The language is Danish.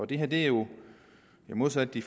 det her er jo modsat de